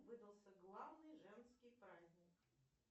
выдался главный женский праздник